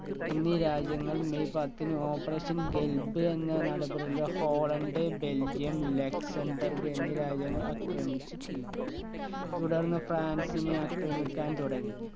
എന്നീ രാജ്യങ്ങൾ മെയ് പത്തിന് operation ഖൽബ് എന്ന നടപടിൽ ഹോളണ്ട് ബെൽജിയം ലെക്സമ്പർഗ് എന്നീ രാജ്യങ്ങൾ ആക്രമിച്ചു കീഴ്‌പ്പെടുത്തി. തുടർന്ന് ഫ്രാൻസിനെ ആക്രമിക്കാൻ തുടങ്ങി.